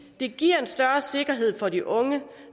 det giver en større sikkerhed for de unge